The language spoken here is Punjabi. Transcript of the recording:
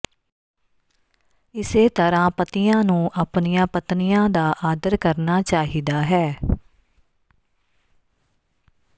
ਇਸੇ ਤਰ੍ਹਾਂ ਪਤੀਆਂ ਨੂੰ ਆਪਣੀਆਂ ਪਤਨੀਆਂ ਦਾ ਆਦਰ ਕਰਨਾ ਚਾਹੀਦਾ ਹੈ